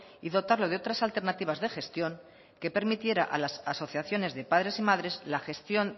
y dotarlo de otras alternativas de gestión que permitiera a las asociaciones de padres y madres la gestión